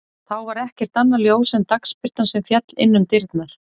Þá var ekkert annað ljós en dagsbirtan sem féll inn um dyrnar.